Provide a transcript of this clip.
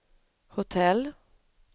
hotell